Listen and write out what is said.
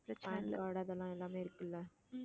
pan card அதெல்லாம் எல்லாமே இருக்குல்ல